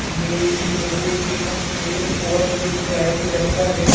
ए एक railway station के overbridge जाए के रास्ता हरे।